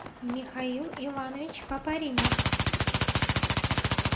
михаил иванович папаримов